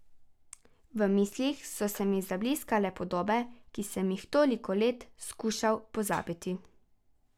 V mislih so se mi zabliskale podobe, ki sem jih toliko let skušal pozabiti.